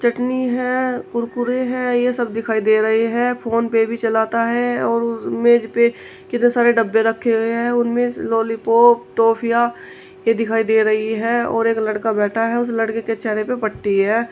चटनी है कुरकुरे हैं ये सब दिखाई दे रहे हैं। फोन पे भी चलाता है और उस मेज पे कितने सारे डब्बे रखे हुए हैं उनमें लॉलीपॉप टॉफियां ये दिखाई दे रही है और एक लड़का बैठा है उस लड़के के चेहरे पे पट्टी है।